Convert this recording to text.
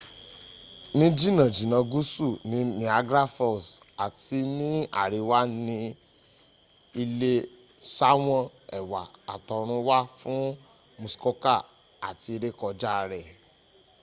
ní jìnnà jìnnà gúúsù ni niagra falls àti ní àríwá ni ilé sáwọn ẹwà àtọrun wá fún muskoka àti rékọjá rẹ̀